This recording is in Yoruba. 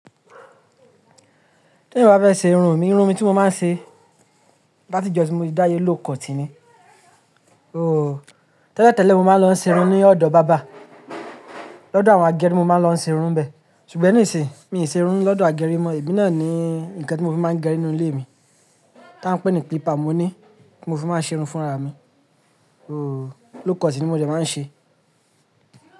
Tí èmi bá fẹ́ ṣe irun mi, irun mi tí mo máa ń ṣe láti ìjọsìn mo ti dáyé lóko ti ni. Ooo. Tẹ́lẹ̀ tẹ́lẹ̀ mo máa ń lọ ṣe irun ní ọ̀dọ̀ bàbá. Lọ́dọ̀ àwọn agẹrí mo máa ń lọ ṣe irun bẹ. Ṣùgbọ́n níìsín, mi ò ṣe irun lọ́dọ̀ agẹrí mọ. Idi náà ni nǹkan tí mo fi máa ń gẹ irun nínú ilé mi, ta ń pè ní cliper mo ní, ti mo fi máa ṣe irun fún ra mi. Ooo. Low cut ni mo dẹ máa ń ṣe.